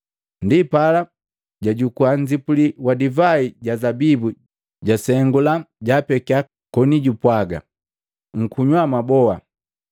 Ndipala jajukua nnzipuli wa divai ja zabibu jwasengula, jaapekia koni jupwaga, “Nkunywa mwaboa.